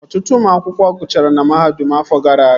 Ọtụtụ ụmụ akwụkwọ gụchara na mahadum afọ gara aga